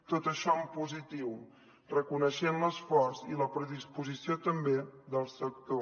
tot això en positiu reconeixent l’esforç i la predisposició també del sector